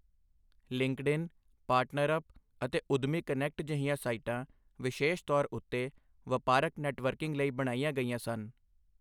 LinkedIn, PartnerUp ਅਤੇ ਉੱਦਮੀ connect ਜਿਹੀਆਂ ਸਾਈਟਾਂ ਵਿਸ਼ੇਸ਼ ਤੌਰ ਉੱਤੇ ਵਪਾਰਕ ਨੈੱਟਵਰਕਿੰਗ ਲਈ ਬਣਾਈਆਂ ਗਈਆਂ ਸਨ।